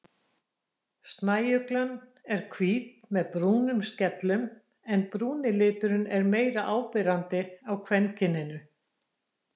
Snæuglan er hvít með brúnum skellum en brúni liturinn er meira áberandi á kvenkyninu.